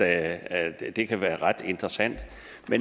at det kan være ret interessant